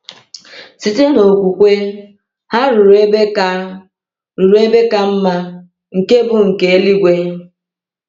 Site n’okwukwe, ha “ruru ebe ka “ruru ebe ka mma, nke bụ nke eluigwe.”